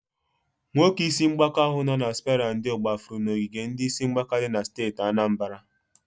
Nwoke isi mgbaka ahu nọ na spera ndo gbafụrụ n'ogige ndi isi mgbaka di na steeti Anambara.